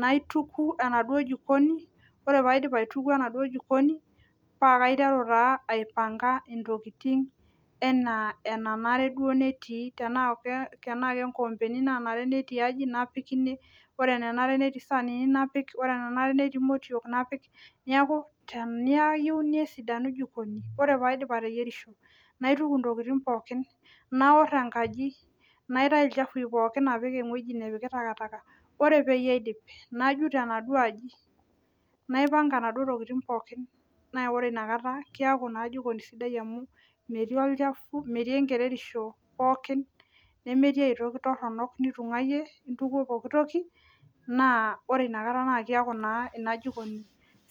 naituku enaduo jikoni ore paidip aituku enaduo jikoni paaiteru taa aipanka intokitin enaa enenare duo netii tenaa kenkoombeni naabore tiaji napik ore enenari napik neeku teniyieu nesidanu jikoni ore paidip ateyierisho naituku intokitin pookin naor enkaji napik ewueji nayieu nepiki ore peyie aidip najut enaduo aji naipanga inaduo tokitin pookin naaore inakata keeku naa jikoni sidai amu metii olchafu metii enkererisho pookin nemetii ae toki toronok nitung'uayie naa ore inakata naa keeku naajikoni safi